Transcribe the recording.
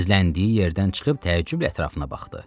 Gizləndiyi yerdən çıxıb təəccüblə ətrafına baxdı.